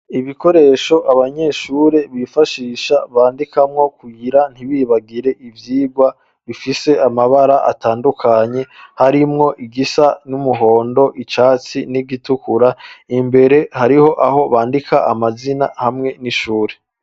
Ibikoresho abanyeshuri bifashisha bandikamwo kugira ntibibagire ivyigwa bifise amabara atandukanye harimwo igisa n'umuhondo icatsi n'igitukura, imbere hariho aho bandika amazina hamwe n'ishuri.